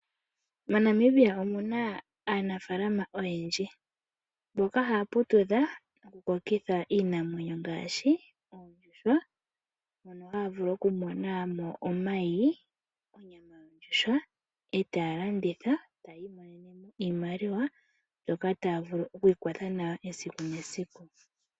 MoNamibia omuna aanafalama oyendji mboka haya putudha noku kokitha iinamwenyo ngaashi oondjuhwa mono haya vulu okumona mo omayi, onyama yondjuhwa etaya landitha eti iminene mo iimaliwa mbyoka taya vulu okwiikwatha nayo esiku nesiku.